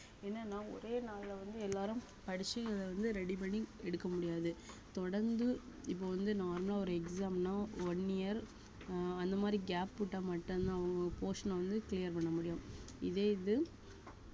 என்னனா ஒரே நாள்ல வந்து எல்லாரும் படிச்சு வந்து ready பண்ணி எடுக்க முடியாது தொடர்ந்து இப்ப வந்து normal லா ஒரு exam ன்னா one year ஆஹ் அந்த மாதிரி gap விட்டா மட்டும்தான் அவங்க portion அ வந்து clear பண்ண முடியும் இதே இது